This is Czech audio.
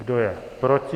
Kdo je proti?